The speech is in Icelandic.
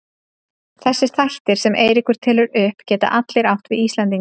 Þessir þættir sem Eiríkur telur upp geta allir átt við Íslendinga.